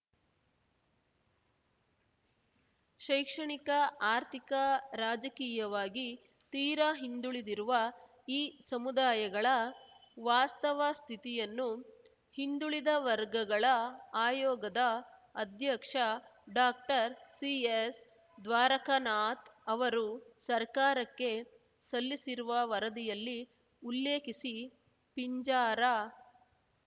ಶೈಕ್ಷಣಿಕ ಆರ್ಥಿಕ ರಾಜಕೀಯವಾಗಿ ತೀರಾ ಹಿಂದುಳಿದಿರುವ ಈ ಸಮುದಾಯಗಳ ವಾಸ್ತವ ಸ್ಥಿತಿಯನ್ನು ಹಿಂದುಳಿದ ವರ್ಗಗಳ ಆಯೋಗದ ಅಧ್ಯಕ್ಷ ಡಾಕ್ಟರ್ಸಿಎಸ್‌ದ್ವಾರಕನಾಥ್‌ ಅವರು ಸರ್ಕಾರಕ್ಕೆ ಸಲ್ಲಿಸಿರುವ ವರದಿಯಲ್ಲಿ ಉಲ್ಲೇಖಿಸಿ ಪಿಂಜಾರ